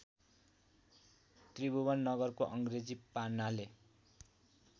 त्रिभुवननगरको अङ्ग्रेजी पान्नाले